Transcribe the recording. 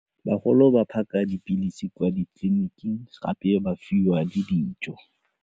Bagolo ba phaka dipilisi kwa ditleliniking gape ba fiwa le dijo.